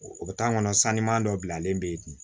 O bɛ taa kɔnɔ sani ma dɔ bilalen bɛ yen